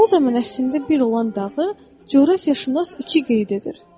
O zaman əslində bir olan dağı coğrafiyaşünas iki qeyd edir.